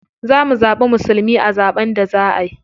Za mu zaɓi musulmi a zaɓen da za a yi.